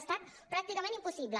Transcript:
ha estat pràcticament impossible